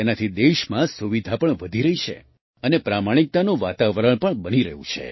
તેનાથી દેશમાં સુવિધા પણ વધી રહી છે અને પ્રમાણિકતાનું વાતાવરણ પણ બની રહ્યું છે